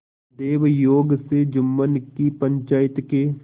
दैवयोग से जुम्मन की पंचायत के